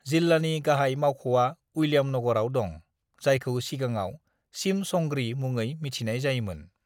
"जिल्लानि गाहाय मावख'आ उइलियामनगरआव दं, जायखौ सिगाङाव सिमसंग्रि मुङै मिथिनाय जायोमोन।"